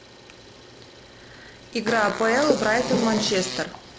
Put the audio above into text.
игра апл брайтон манчестер